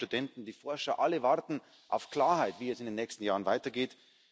Die Bauern, die Studenten, die Forscher alle warten auf Klarheit, wie es in den nächsten Jahren weitergeht.